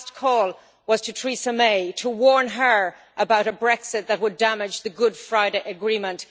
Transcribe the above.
His last call was to Theresa May to warn her about a Brexit that would damage the Good Friday Agreement.